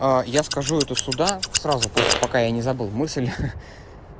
а я скажу эту сюда сразу просто пока я не забыл мысль